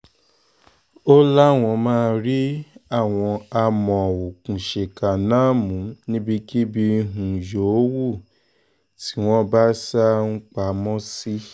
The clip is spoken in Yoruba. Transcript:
ó láwọn máa rí àwọn amọ̀òkùnsíkà náà mú níbikíbi um yòówù tí wọ́n bá sá um pamọ́ sí